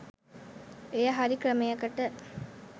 එය හරි ක්‍රමයකට